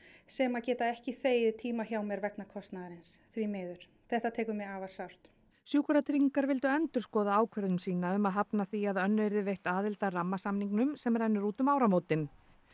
sem að geta ekki þegið tíma hjá mér vegna kostnaðarins því miður þetta tekur mig afar sárt sjúkratryggingar vildu endurskoða ákvörðun sína um að hafna því að Önnu yrði veitt aðild að rammasamningnum sem rennur út um áramótin